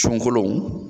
Sunkalo